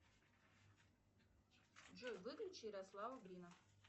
джой выключи ярослава брина